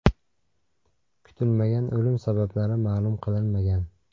Kutilmagan o‘lim sabablari ma’lum qilinmagan.